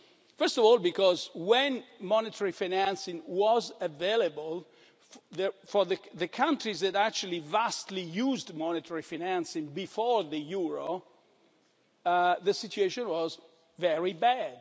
First of all, because when monetary financing was available, for the countries that actually vastly used monetary financing before the euro, the situation was very